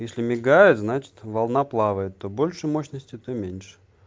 если мигают значит волна плавает то больше мощности то меньше